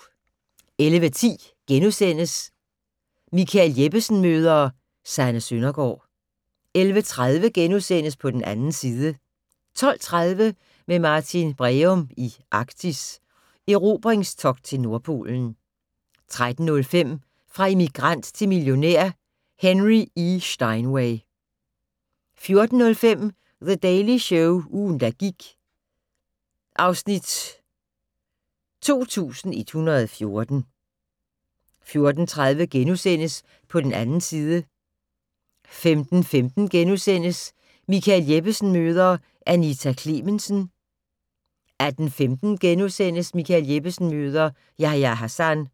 11:10: Michael Jeppesen møder ... Sanne Søndergaard * 11:30: På den 2. side * 12:30: Med Martin Breum i Arktis: Erobringstogt til Nordpolen 13:05: Fra immigrant til millionær: Henry E. Steinway 14:05: The Daily Show - ugen, der gik (Afs. 2014) 14:30: På den 2. side * 15:15: Michael Jeppesen møder ... Anita Klemensen * 18:15: Michael Jeppesen møder ... Yahya Hassan